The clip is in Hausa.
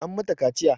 An mata kaciya